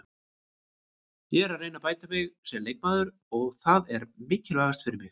Ég er að reyna að bæta mig sem leikmaður og það er mikilvægast fyrir mig.